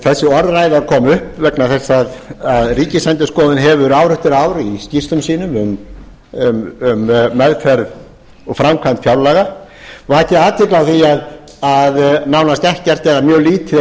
þessi orðræða kom upp vegna þess að ríkisendurskoðun hefur ár eftir ár í skýrslum sínum um meðferð og framkvæmd fjárlaga vakið athygli á því að nánast ekkert eða mjög lítið er